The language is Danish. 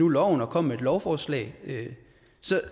loven og kom med et lovforslag